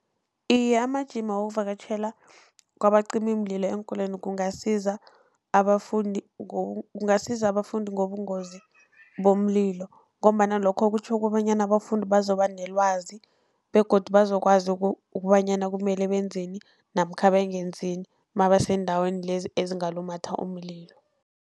Iye, amajima wokuvakatjhela kwabacimimlilo eenkolweni kungasiza abafundi kungasiza abafundi ngobungozi bomlilo, ngombana lokho kutjho kobanyana abafundi bazoba nelwazi begodu bazokwazi ukobanyana kumele benzeni, namkha bangenzini mabaseendaweni lezi ezingalumatha umililo.